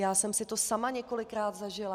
Já jsem si to sama několikrát zažila.